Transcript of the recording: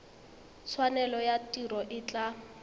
tshwanelo ya tiro e tla